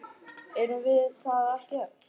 Erum við það ekki öll?